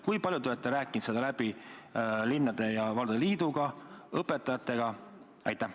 Kui palju te olete seda läbi rääkinud linnade ja valdade liiduga, õpetajatega?